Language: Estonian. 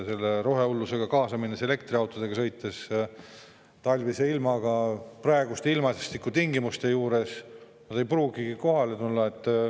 Kui rohehullusega kaasa minnes elektriautodega sõita talvise ilmaga, siis praeguste ilmastikutingimuste juures nad ei pruugi kohale jõudagi.